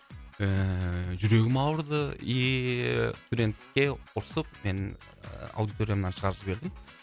ііі жүрегім ауырды иии студентке ұрсып мен аудиториямнан шығарып жібердім